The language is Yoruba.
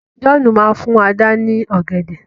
John má fún Àdá ni ògèdè.